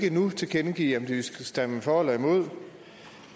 ikke nu kan tilkendegive om de vil stemme for eller imod